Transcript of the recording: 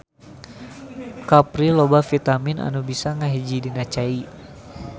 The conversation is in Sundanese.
Kapri loba vitamin nu bisa ngahiji dina cai.